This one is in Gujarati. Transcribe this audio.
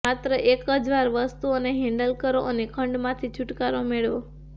માત્ર એક જ વાર વસ્તુઓને હેન્ડલ કરો અને ખંડમાંથી છુટકારો મેળવો